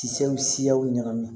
Siyaw ɲagami